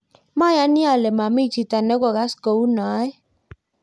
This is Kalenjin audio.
mayani ale mami chito ne kokas kou noe